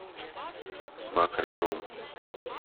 макро рум